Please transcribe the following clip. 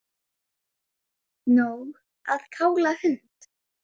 Nóg að kála hund